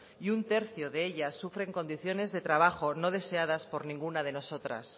y un tercio de ellas sufren condiciones de trabajo no deseadas por ninguna de nosotras